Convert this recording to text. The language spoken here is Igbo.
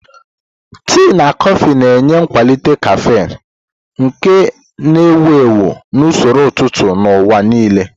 Tii na kọfị na-enye nkwalite caffeine, nke a na-ewu ewu na usoro ụtụtụ n'ụwa nile.